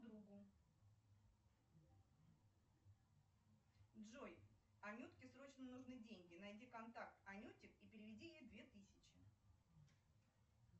джой анютке срочно нужны деньги найди контакт анютик и переведи ей две тысячи